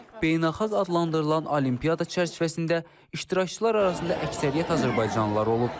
beynəlxalq adlandırılan olimpiyada çərçivəsində iştirakçılar arasında əksəriyyət azərbaycanlılar olub.